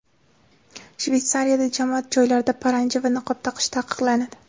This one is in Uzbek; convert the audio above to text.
Shveysariyada jamoat joylarida paranji va niqob taqish taqiqlanadi.